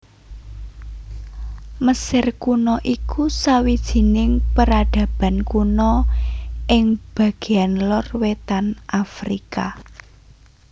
Mesir Kuna iku sawijining peradaban kuna ing bagéan lor wétan Afrika